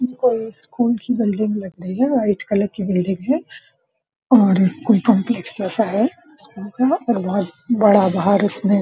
ये कोई स्कूल की बिल्डिंग लगती है व्हाइट कलर की बिल्डिंग है और कोई कॉम्प्लेक्स जैसा है स्कूल का और बहुत बड़ा बाहर इसमें --